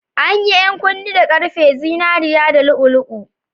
An yi 'yan kunne da ƙarfe, zinariya, da lu'u-lu'u.